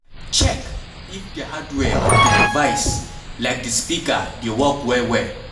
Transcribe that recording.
Check if di hardware of di device like di speaker dey work well well